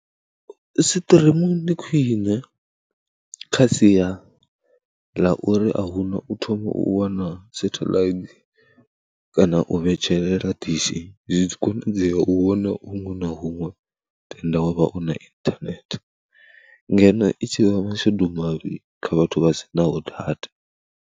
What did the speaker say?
Stream ndi khwiṋe kha sia ḽa uri a hu na u thome u wana satheḽaithi kana u vhetshelela dishi, zwi a konadzea u vhona huṅwe na huṅwe tenda wa vha u na inthanethe ngeno i tshi vha mashudu mavhi kha vhathu vha si naho data.